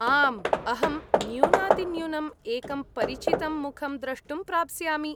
आम्, अहं न्यूनातिन्यूनम् एकं परिचितं मुखं द्रष्टुं प्राप्स्यामि।